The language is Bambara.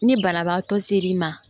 Ni banabaatɔ ser'i ma